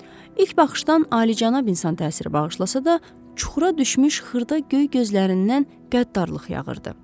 İlk baxışdan alicənab insan təsiri bağışlasa da, çuxura düşmüş xırda göy gözlərindən qəddarlıq yağırdı.